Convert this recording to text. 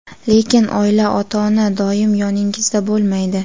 Lekin oila, ota-ona doim yoningizda bo‘lmaydi.